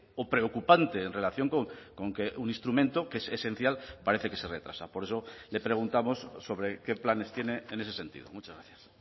o preocupante en relación con que un instrumento que es esencial parece que se retrasa por eso le preguntamos sobre qué planes tiene en ese sentido muchas gracias